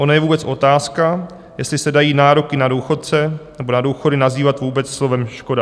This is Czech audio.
Ona je vůbec otázka, jestli se dají nároky na důchodce nebo na důchody nazývat vůbec slovem škoda."